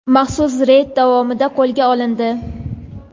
maxsus reyd davomida qo‘lga olindi.